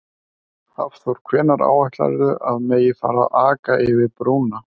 Hafþór: Hvenær áætlarðu að megi að fara að aka yfir brúna?